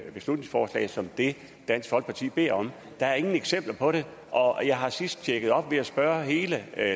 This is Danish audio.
et beslutningsforslag som det dansk folkeparti beder om der er ingen eksempler på det og jeg har sidst tjekket det op ved at spørge hele